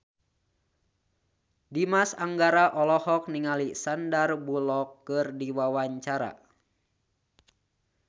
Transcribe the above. Dimas Anggara olohok ningali Sandar Bullock keur diwawancara